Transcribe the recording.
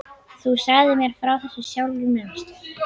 Þú sagðir mér frá þessu sjálfur, manstu?